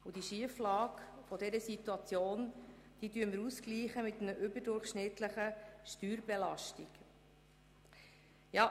Diese Schieflage gleichen wir mit einer überdurchschnittlichen Steuerbelastung aus.